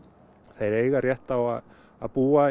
þeir eiga rétt á að að búa